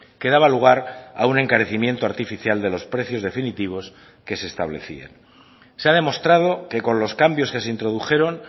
que daba lugar a un encarecimiento artificial de los precios definitivos que se establecían se ha demostrado que con los cambios que se introdujeron